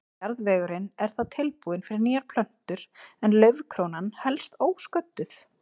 Jarðvegurinn er þá tilbúinn fyrir nýjar plöntur en laufkrónan helst ósködduð.